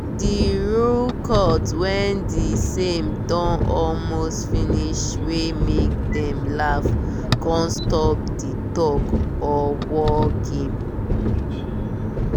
the rooe cut when the same don almost finish wey make dem laugh con stop di tug or war game